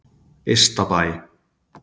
Ystabæ